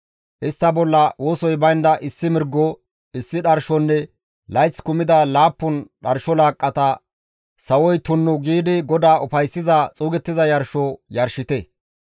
Istta bolla wosoy baynda issi mirgo, issi dharshonne layth kumida laappun dharsho laaqqata sawoy tunnu giidi GODAA ufayssiza xuugettiza yarsho yarshite.